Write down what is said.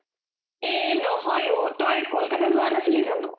এ নহয় অ তই কলকতা যোৱা নাছিলি জানো ?